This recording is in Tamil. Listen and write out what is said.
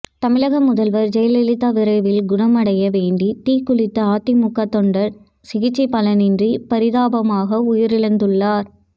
தமிழக முதல்வர் ஜெயலலிதா விரைவில் குணமடைய வேண்டி தீக்குளித்த அதிமுக தொண்டர் சிகிச்சை பலனின்றி பரிதாபமாக உயிரிழந்துள்ளார்